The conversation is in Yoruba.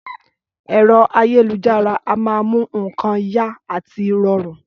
Ẹ̀rọ ayélujára a máa mú nǹkan yá àti rọrùn